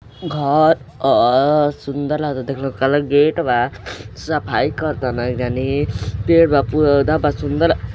घर अ सुंदर लागता देखले मे काला गेट बा सफाई करतन एक जनी पेड़ बा पौधा बा सुंदर --